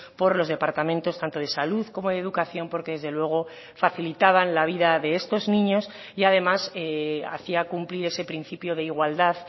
por los departamentos tanto de salud como de educación porque desde luego facilitaban la vida de estos niños y además hacía cumplir ese principio de igualdad